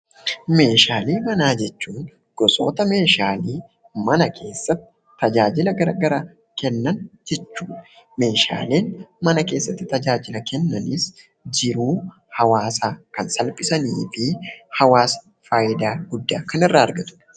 Meeshaalee manaa jechuun gosoota meeshaalee mana keessatti tajaajila gara garaa kennan jechuudha. Meeshaaleen mana keessatti tajaajila kennanis jiruu hawaasaa kan salphisanii fi hawaasni faayidaa guddaa kan irraa argatudha.